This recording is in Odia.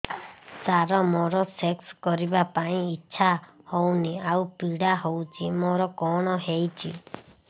ସାର ମୋର ସେକ୍ସ କରିବା ପାଇଁ ଇଚ୍ଛା ହଉନି ଆଉ ପୀଡା ହଉଚି ମୋର କଣ ହେଇଛି